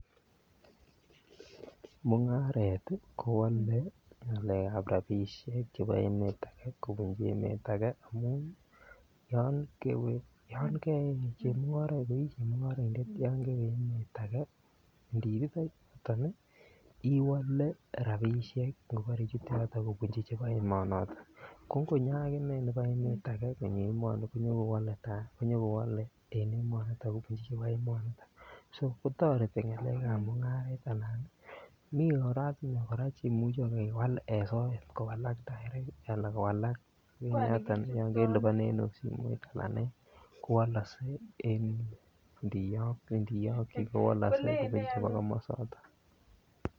Mungaret kowole ngalekab rabisiek chebo emet age kobunji emet age amun yon I chemungaraindet yon kewe emet age iniititoi yuniton iwole rabisiek ngobore ichute yoton kobunji chebo emonoton ko ngonyo aginee nebo emet age konyo emoni konyo kowole en emoni kobunji chebo emoni so kotoreti ngalekab mungaret mi oratinwek Che imuche kewal en soet anan kowalak en yoton yon kelipanen okot simoit kowalkse ndiyokyi koba emonoton